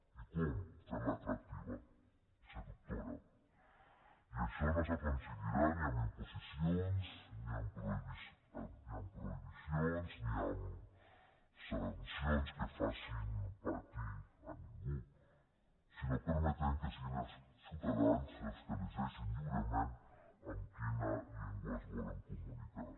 i com fent la atractiva seductora i això no s’aconseguirà ni amb imposicions ni amb prohibicions ni amb sancions que facin patir a ningú sinó permetent que siguin els ciutadans els que elegeixin lliurement amb quina llengua es volen comunicar